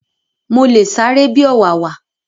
Mo le sáré bi ọ̀wàwà